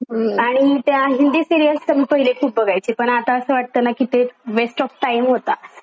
हम आणि त्या हिंदी सीरियल्स तर मी पहिले खूप बघायचे पण आता असं वाटतं ना कि ते वेस्ट ऑफ टाइम होता.